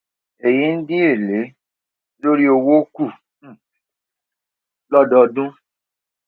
èyí n dín èlé lórí owó kù um lódọọdún